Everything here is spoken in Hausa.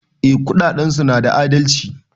Eh kudadensu na da adalci.